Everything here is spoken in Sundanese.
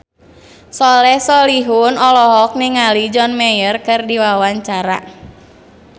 Soleh Solihun olohok ningali John Mayer keur diwawancara